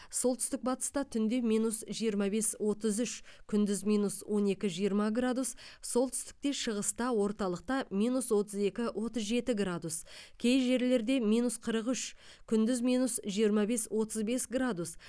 солтүстік батыста түнде минус жиырма бес отыз үш күндіз минус он екі жиырма градус солтүстікте шығыста орталықта минус отыз екі отыз жеті градус кей жерлерде минус қырық үш күндіз минус жиырма бес отыз бес градус